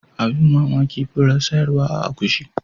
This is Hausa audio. Abin mamaki furar sayarwa a akushi.